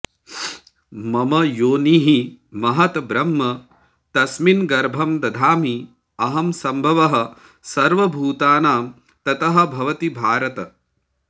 मम योनिः महत् ब्रह्म तस्मिन् गर्भं दधामि अहम् सम्भवः सर्वभूतानां ततः भवति भारत